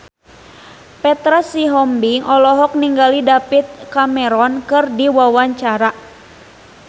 Petra Sihombing olohok ningali David Cameron keur diwawancara